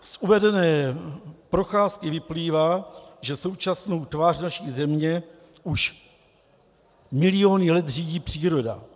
Z uvedené procházky vyplývá, že současnou tvář naší země už miliony let řídí příroda.